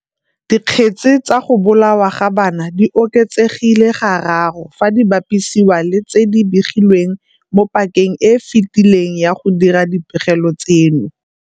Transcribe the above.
Dikgetse tsa go bolawa ga bana di oketsegile gararo fadi bapisiwa le tse di begilweng mo pakeng e e fetileng ya go dira dipegelo tseno.